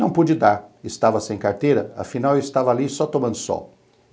Não pude dar, estava sem carteira, afinal eu estava ali só tomando sol.